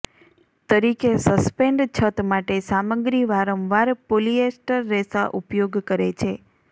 તરીકે સસ્પેન્ડ છત માટે સામગ્રી વારંવાર પોલિએસ્ટર રેસા ઉપયોગ કરે છે